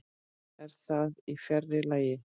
En það er fjarri lagi.